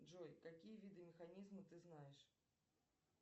джой какие виды механизма ты знаешь